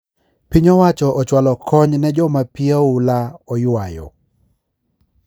Piny owacho ochwalo konyo ne joma pii oula oywayo